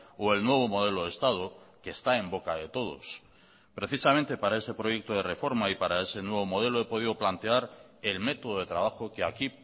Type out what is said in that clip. o el nuevo modelo de estado que está en boca de todos precisamente para ese proyecto de reforma y para ese nuevo modelo he podido plantear el método de trabajo que aquí